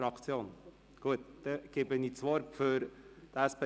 – Sie spricht für die Fraktion.